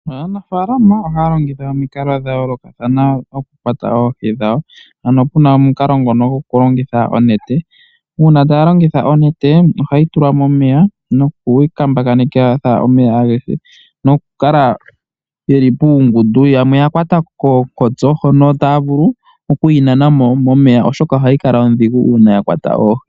Aanafalama ohaya longitha omikalo dha yoolokathana okukwata oohi dhawo, ano puna omukalo ngono gokulongitha onete. Uuna taya longitha onete, ohayi tulwa momeya nokuyi kambakanitha omeya agehe, nokukala yeli puungundu. Yamwe ya kwata koonkotso hono taya vulu oku yi nanamo momeya, oshoka ohayi kala odhigu uuna ya kwata oohi.